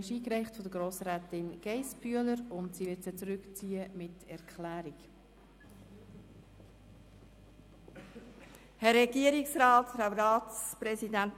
Diese Motion wurde von Grossrätin Geissbühler eingereicht, und sie wird sie mit einer Erklärung zurückziehen.